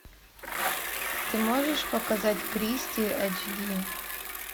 ты можешь показать кристи айч ди